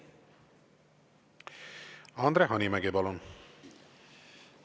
Andre Hanimägi, palun!